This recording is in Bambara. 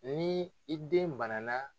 Ni i den banana